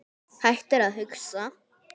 Hættir að hugsa.